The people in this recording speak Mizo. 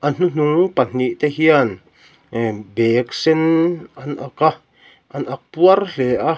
a hnuhnung pahnih te hian bag sen an ak a an ak puar hle a.